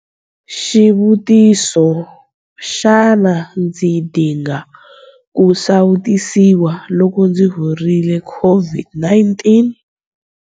Xivutiso- Xana ndzi dinga ku sawutisiwa loko ndzi horile COVID-19?